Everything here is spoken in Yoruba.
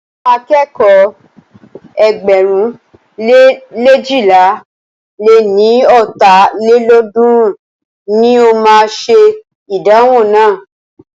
Àwọn akẹ́kọ̀ọ́ ẹgbẹ̀rún le leéjìlá lé ní ọ́ta lélọ́ọ̀dúnrún ní o máa ṣe ìdánwò náà.